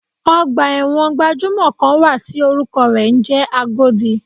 Ọgbà ẹ̀wọ̀n gbajúmò kan wà tí orúkọ rẹ̀ ń jẹ́ Agodi.